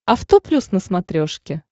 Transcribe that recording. авто плюс на смотрешке